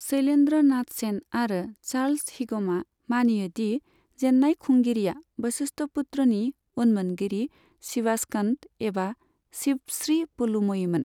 शैलेन्द्र नाथ सेन आरो चार्ल्स हिगमआ मानियो दि जेन्नाय खुंगिरिया बशिष्ठपुत्रनि उनमोनगिरि शिवास्कन्द एबा शिव श्री पुलुमयीमोन।